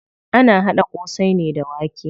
Ana haɗa ƙosai ne da wake.